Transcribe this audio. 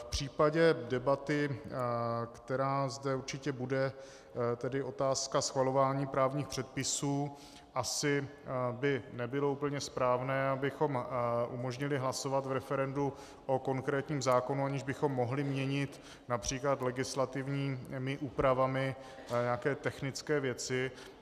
V případě debaty, která zde určitě bude, tedy otázka schvalování právních předpisů, asi by nebylo úplně správné, abychom umožnili hlasovat v referendu o konkrétním zákonu, aniž bychom mohli měnit například legislativními úpravami nějaké technické věci.